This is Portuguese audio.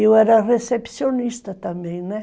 Eu era recepcionista também, né?